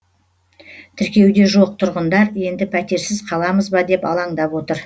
тіркеуде жоқ тұрғындар енді пәтерсіз қаламыз ба деп алаңдап отыр